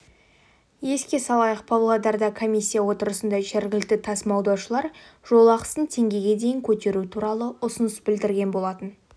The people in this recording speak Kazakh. еске салайық павлодарда комиссия отырысында жергілікті тасымалдаушылар жол ақысын теңгеге дейін көтеру туралы ұсыныс білдірген болатын